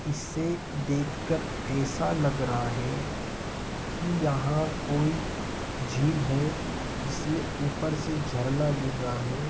इसे देख कर ऐसा लग रहा है कि यहाँ कोई झील है। जिसमे ऊपर से झरना गिर रहा है।